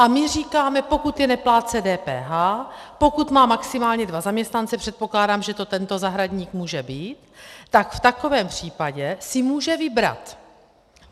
A my říkáme, pokud je neplátce DPH, pokud má maximálně dva zaměstnance, předpokládám, že to tento zahradník může být, tak v takovém případě si může vybrat.